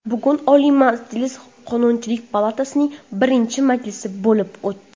Bugun Oliy Majlis Qonunchilik palatasining birinchi majlisi bo‘lib o‘tdi.